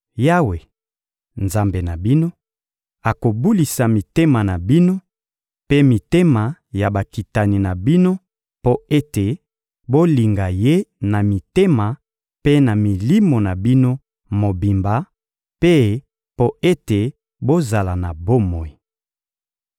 Yawe, Nzambe na bino, akobulisa mitema na bino mpe mitema ya bakitani na bino mpo ete bolinga Ye na mitema mpe na milimo na bino mobimba, mpe mpo ete bozala na bomoi.